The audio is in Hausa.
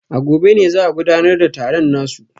A gobe ne za a gudanar da taron nasu